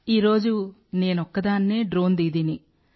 ఈ రోజు నేనొక్కదాన్నే డ్రోన్ దీదీని